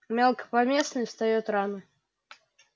мелкопоместный встаёт рано